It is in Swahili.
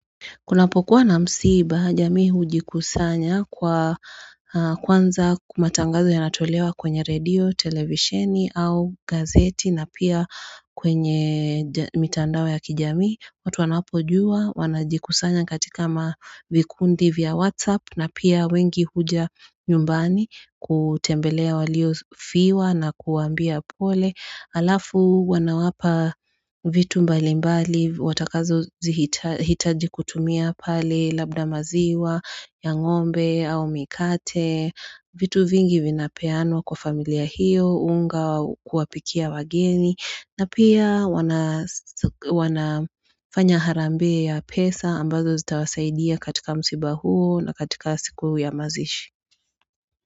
Kuna pokuwa na msiba, jami hujikusanya kwa kwanza kumatangazo yanatolewa kwenye radio, televisheni au gazeti na pia kwenye mitandawe ya kijami. Watu wanapo juwa, wanajikusanya katika mavikundi vya whatsapp na pia wengi huja nyumbani kutembelea walio fiwa na kuambia pole. Alafu wanawapa vitu mbali mbali watakazo zihitaji kutumia pale labda maziwa, ya ngombe au mikate, vitu vingi vinapeanwa kwa familia hiyo, unga kuwapikia wageni na pia wanafanya harambe ya pesa ambazo zitawasaidia katika msiba huo na katika siku ya mazishi.